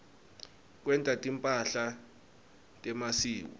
kwenta timphahla temasiko